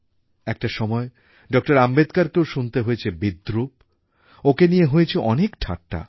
একটা সময় ডক্টর আম্বেদকরকেও শুনতে হয়েছে বিদ্রুপ ওঁকে নিয়ে হয়েছে অনেক ঠাট্টা